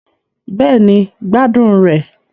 Bẹ́ẹ̀ni, gbádùn rẹ̀